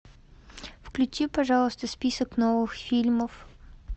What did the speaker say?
включи пожалуйста список новых фильмов